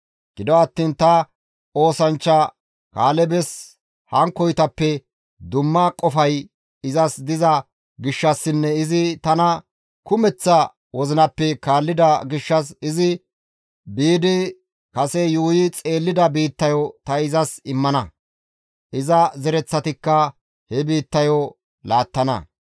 Gido attiin ta oosanchcha Kaalebes hankkoytappe dumma qofay izas diza gishshassinne izi tana kumeththa wozinappe kaallida gishshas izi biidi kase yuuyi xeellida biittayo ta izas immana; iza zereththatikka he biittayo laattana.